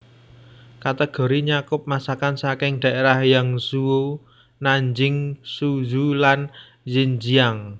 Kategori nyakup masakan saking daerah Yangzhou Nanjing Suzhou lan Zhenjiang